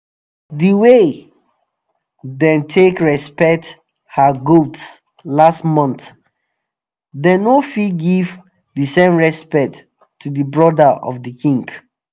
the way them take respect her goats last month them no fit give the same respect to the brother of the king.